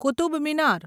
Qutub Minar